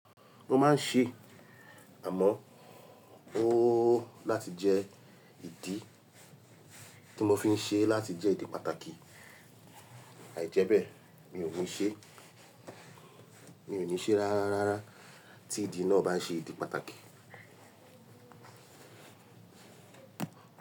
Mo máa ń ṣe, àmọ́ ó láti jẹ́ ìdí tí mo fi ń ṣe láti jẹ́ ìdí pàtàkì, àìjẹ́bẹ̀ mi ò ní ṣe, mi ò ní ṣe rárá rárá tí ìdí náà bá n ṣe ìdí pàtàkì.